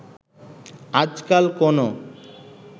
আজকাল কোনো